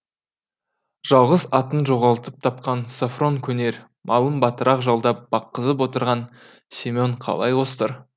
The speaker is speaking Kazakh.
жалғыз атын жоғалтып тапқан софрон көнер малын батырақ жалдап баққызып отырған семен қалай қостар